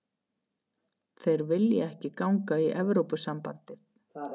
Þeir vilja ekki ganga í Evrópusambandið